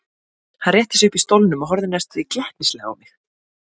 Hann rétti sig upp í stólnum og horfði næstum því glettnislega á mig.